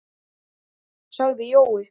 sagði Jói.